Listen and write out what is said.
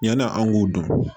Yan'an k'o dɔn